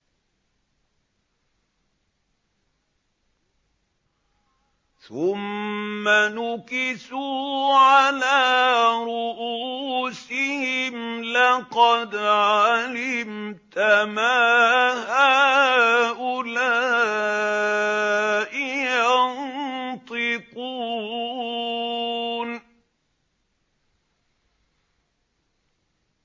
ثُمَّ نُكِسُوا عَلَىٰ رُءُوسِهِمْ لَقَدْ عَلِمْتَ مَا هَٰؤُلَاءِ يَنطِقُونَ